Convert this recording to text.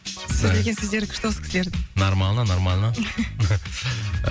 сөйлеген сөздері күшті осы кісілердің нормально нормально